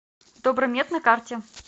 добромед на карте